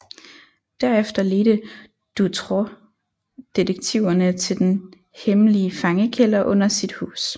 Derefter ledte Dutroux detektiverne til den hemmelige fangekælder under sit hus